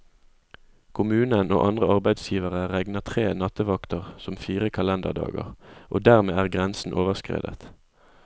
Kommunen og andre arbeidsgivere regner tre nattevakter som fire kalenderdager, og dermed er grensen overskredet.